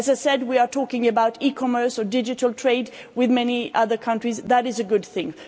As I said, we are talking about e commerce and digital trade with many other countries. That is a good thing.